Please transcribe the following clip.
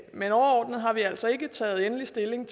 men overordnet har vi altså ikke taget endelig stilling